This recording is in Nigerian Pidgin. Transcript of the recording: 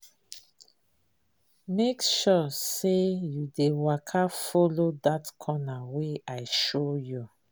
Make sure say you dey waka follow that corner wey I show you.